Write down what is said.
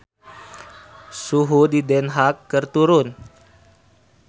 Suhu di Den Haag keur turun